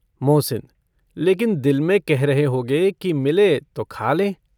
मोहसिन - लेकिन दिल में कह रहे होगे कि मिले तो खा लें।